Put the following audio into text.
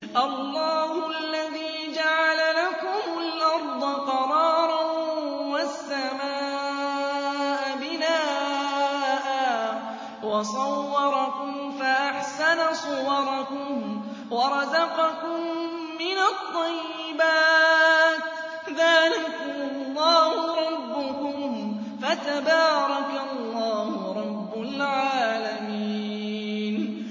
اللَّهُ الَّذِي جَعَلَ لَكُمُ الْأَرْضَ قَرَارًا وَالسَّمَاءَ بِنَاءً وَصَوَّرَكُمْ فَأَحْسَنَ صُوَرَكُمْ وَرَزَقَكُم مِّنَ الطَّيِّبَاتِ ۚ ذَٰلِكُمُ اللَّهُ رَبُّكُمْ ۖ فَتَبَارَكَ اللَّهُ رَبُّ الْعَالَمِينَ